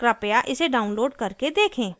कृपया इसको डाउनलोड करके देखें